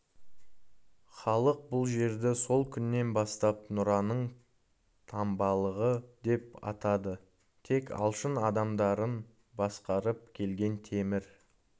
халық бұл жерді сол күннен бастап нұраның таңбалығы деп атады тек алшын адамдарын басқарып келген темір